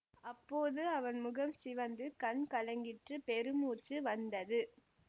அப்போது அவன் முகம் சிவந்து கண் கலங்கிற்று பெருமூச்சு வந்தது